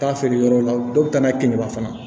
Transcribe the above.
Taa feere yɔrɔ la dɔ bɛ taa n'a ye kinni na fana